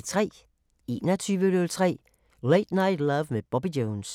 21:03: Late Night Love med Bobby Jones